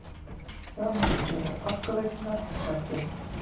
Fjármálastjóra Orkuveitunnar sagt upp